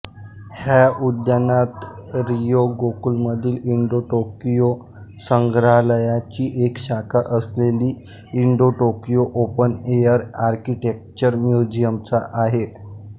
ह्या उद्यानात रिओगोकुमधील इंडोटोकियो संग्रहालयाची एक शाखा असलेले इंडोटोकियो ओपन एअर आर्किटेक्चरल म्युझियमचा आहे